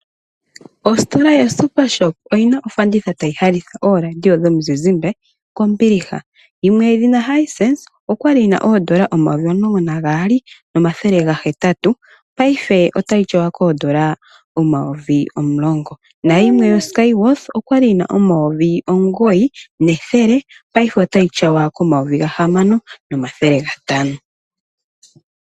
Ostola ya supershop oyina ofanditha tayi landitha oolaadiyo dhomi zizimbe kombiliha. Yimwe yedhina Hisense okwali yina N$12800, paife ota yi tyawa ko N$10000 na yimwe yo Skyworth okwali yina N$9100 paife ota yi tyawa ko N$6500.